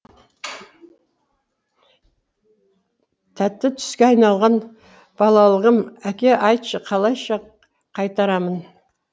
тәтті түске айналған балалығым әке айтшы қалайша қайтарамын